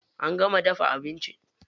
An gama dafa abinci?